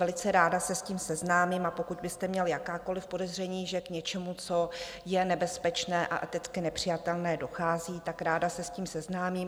Velice ráda se s tím seznámím, a pokud byste měl jakákoliv podezření, že k něčemu, co je nebezpečné a eticky nepřijatelné, dochází, tak ráda se s tím seznámím.